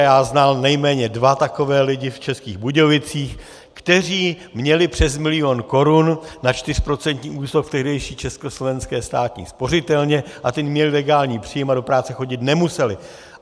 A já znal nejméně dva takové lidi v Českých Budějovicích, kteří měli přes milion korun na čtyřprocentní úrok v tehdejší československé státní spořitelně, a ti měli legální příjem a do práce chodit nemuseli.